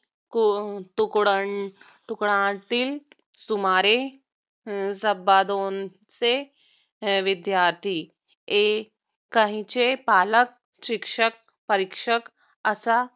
तुकडणतुकड्यातील सुमारे अं सव्वा दोनशे विदयार्थी अनेकांचे पालक शिक्षक परीक्षक असा